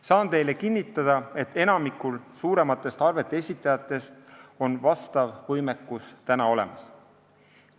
Saan teile kinnitada, et enamikul suurematest arvete esitajatest on vastav võimekus olemas.